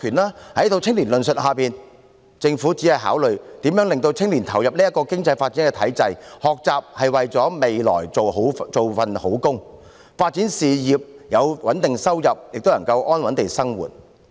在這套青年論述下，政府只是考慮如何令青年投入這個經濟發展的體制；學習是為了未來有一份好工作，發展事業；有穩定收入，便可以安穩地生活。